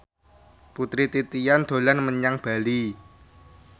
Putri Titian dolan menyang Bali